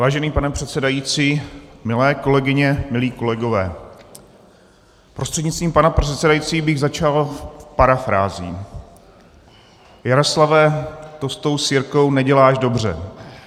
Vážený pane předsedající, milé kolegyně, milí kolegové, prostřednictvím pana předsedajícího bych začal parafrází: "Jaroslave, to s tou sirkou neděláš dobře.